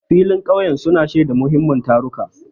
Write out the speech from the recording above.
Filin ƙauyen sun shaidi muhimman taruka.